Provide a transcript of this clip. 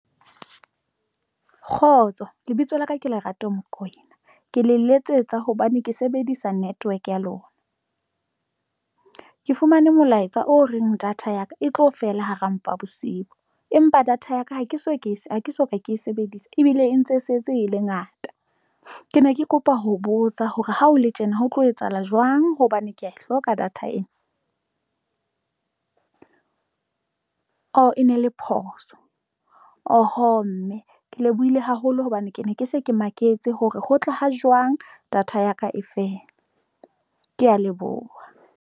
Kgotso lebitso la ka ke Lerato Mokoena ke le letsetsa hobane ke sebedisa network ya lona, ke fumane molaetsa o reng data ya ka e tlo fela hara mpa bosiu empa data ya ka ha ke so ke ha ke soka ke e sebedisa ebile e ntse se etse e le ngata. Ke ne ke kopa ho botsa hore ha ho le tjena ho tlo etsahala jwang hobane kea e hloka data ena oo e ne le phoso oho mme ke lebohile haholo hobane ke ne ke se ke maketse hore ho tla ha jwang data ya ka e fela, ke ya leboha?